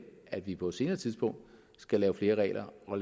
at vi på et senere tidspunkt skal lave flere regler og